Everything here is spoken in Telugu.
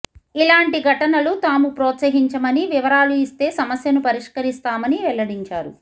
ఇలాంటి ఘటనలు తాము ప్రోత్సహించమని వివరాలు ఇస్తే సమస్యను పరిష్కరిస్తామని వెల్లడించారు